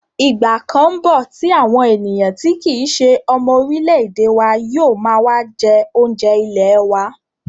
Ìgbà kan ńbọ̀ tí àwọn ènìyàn tí wọn kìí se ọmọ orílẹ̀-èdè wa yóò máa jẹ́ oúnjẹ ilẹ̀ wa